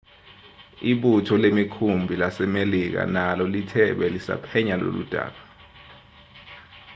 ibutho lemikhumbi lasemelika nalo lithe belisaphenya loludaba